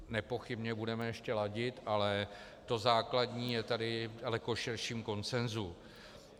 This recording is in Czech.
Nepochybně budeme ještě ladit, ale to základní je tady v daleko širším konsenzu.